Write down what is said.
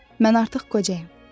Mən artıq qocayam.